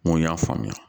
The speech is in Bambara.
N ko n y'a faamuya